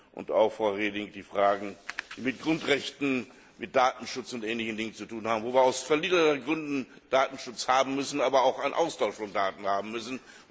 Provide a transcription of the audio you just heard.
und auch, Frau Reding, die Fragen voranbringen, die mit Grundrechten, mit Datenschutz und ähnlichen Dingen zu tun haben, wo wir aus vielerlei Gründen Datenschutz haben müssen, aber auch einen Austausch von Daten haben müssen.